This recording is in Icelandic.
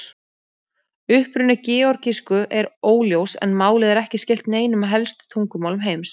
Uppruni georgísku er óljós en málið er ekki skylt neinum af helstu tungumálum heims.